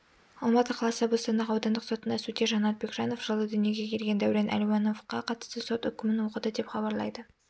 алматы қаласы бостандық аудандық сотында судья жанат бекжанов жылы дүниеге келген дәурен әлеуіановқа қатысты сот үкімін оқыды деп іабарлайды